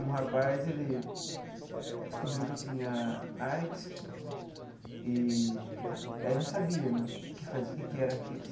Um rapaz ele descobriu que tinha AIDS eee aí ele não sabia né o que fazia, o que que era aquilo.